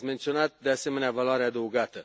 Ați menționat, de asemenea, valoarea adăugată.